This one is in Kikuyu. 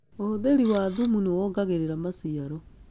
Ũhũthĩri wa thumu nĩwongagĩrira maciaro